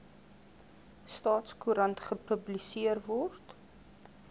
staatskoerant gepubliseer word